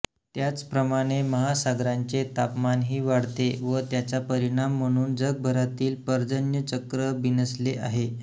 त्याचप्रमाणे महासागरांचे तापमानही वाढते व त्याचा परिणाम म्हणून जगभरातील पर्जन्यचक्र बिनसले आहे